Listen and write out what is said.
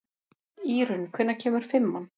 Írunn, hvenær kemur fimman?